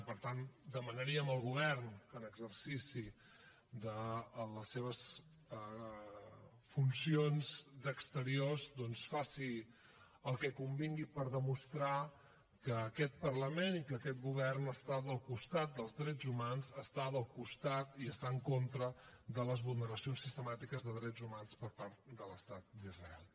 i per tant demanaríem al govern que en exercici de les seves funcions d’exteriors doncs fes el que convingués per demostrar que aquest parlament i que aquest govern estan al costat dels drets humans i estan en contra de les vulneracions sistemàtiques de drets humans per part de l’estat d’israel